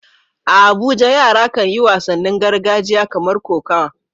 A Abuja yara kan yi wasannin gargajiya kamar kokawa.